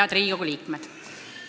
Head Riigikogu liikmed!